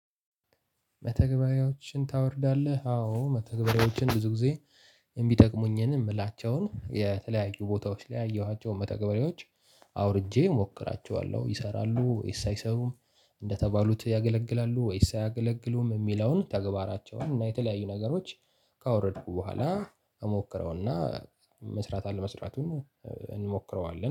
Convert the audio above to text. መተግበሪያዎችን ታወርዳለህ? አዎ መተግበሪያዎችን ብዙ ጊዜ የሚጠቅሙኝን የምላቸውን የተለያዩ ቦታዎች ላይ ያየኋቸውን መተግበሪያዎች አውርጄ እሞክራቸዋለሁ ይሰራሉ ወይስ አይሰሩም? እንደተባሉት ያገለግላሉ ወይስ አያገለግሉም የሚለውን ተግባራቸውን እና የተለያዩ ነገሮች ካወረድኩ በኋላ እሞክረውና መስራት አለመስራቱን እንሞክረዋለን